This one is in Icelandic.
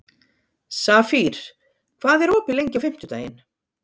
Safír, hvað er opið lengi á fimmtudaginn?